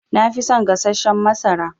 Nafi son gassashen masara.